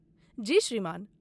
जी, श्रीमान।